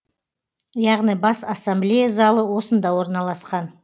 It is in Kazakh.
яғни бас ассамблея залы осында орналасқан